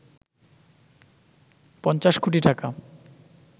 ৫০ কোটি টাকা